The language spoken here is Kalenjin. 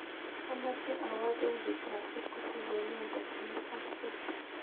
Amoche awoo bengit ab equity konon tokyinetabge